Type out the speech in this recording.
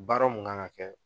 Baara mun kan ka kɛ